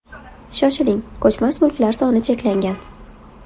Shoshiling, ko‘chmas mulklar soni cheklangan.